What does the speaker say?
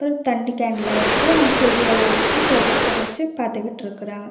ஒரு தண்ணி கேண்லா இருக்கு அண்ட் செடி எல்லா இருக்கு ப்ரொஜெக்டர் வச்சு பாத்துகிட்டுருக்கறாங்க.